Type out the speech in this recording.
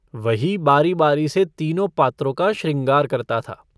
वही बारी-बारी से तीनों पात्रों का शृंगार करता था।